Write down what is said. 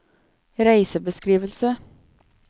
reisebeskrivelse